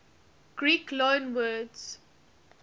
greek loanwords